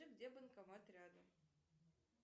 где банкомат рядом